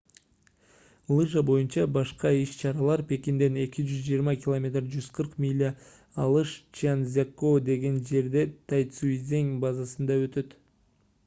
лыжа боюнча башка иш-чаралар пекинден 220 км 140 миля алыс чжанцзякоу деген жердеги тайцзичэнг базасында өтөт